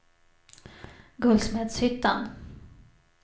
Guldsmedshyttan